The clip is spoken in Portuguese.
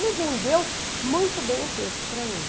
Ele vendeu muito bem o peixe para mim.